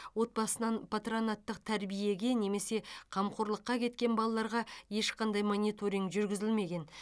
отбасынан патронаттық тәрбиеге немесе қамқорлыққа кеткен балаларға ешқандай мониторинг жүргізілмеген